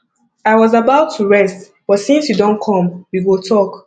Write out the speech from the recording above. i was about to rest but since you don come we go talk